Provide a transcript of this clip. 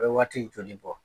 A bɛ waati joli bɔ ?